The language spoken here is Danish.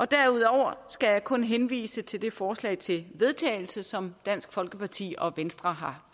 derudover skal jeg kun henvise til det forslag til vedtagelse som dansk folkeparti og venstre har